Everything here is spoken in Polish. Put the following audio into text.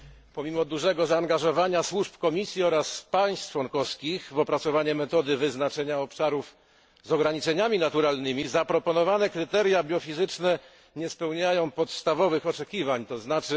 Pomimo dużego zaangażowania służb Komisji oraz państw członkowskich w opracowanie metody wyznaczenia obszarów z ograniczeniami naturalnymi, zaproponowane kryteria biofizyczne nie spełniają podstawowych oczekiwań, tzn.